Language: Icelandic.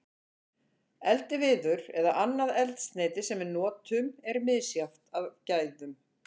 Eldiviður eða annað eldsneyti sem við notum er misjafnt að gæðum.